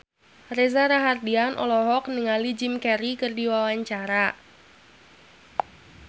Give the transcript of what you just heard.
Reza Rahardian olohok ningali Jim Carey keur diwawancara